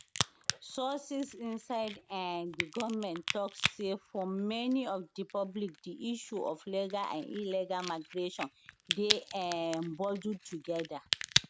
sources inside um di goment tok say for many of di public di issue of legal and illegal migration dey um bundled togeda